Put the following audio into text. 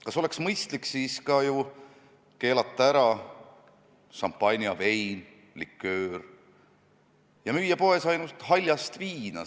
Kas sel juhul poleks mõistlik keelata ära ka šampanja, vein ja liköör ning müüa poes ainult haljast viina?